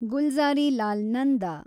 Gulzarilal Nanda